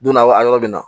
Donna wa a yɔrɔ bɛ na